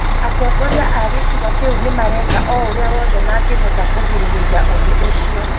Atongoria a gĩcigo kĩu nĩ mareka o ũrĩa wothe mangĩhota kũgirĩrĩria ũndũ ũcio.